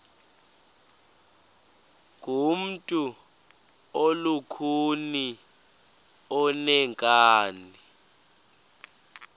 ngumntu olukhuni oneenkani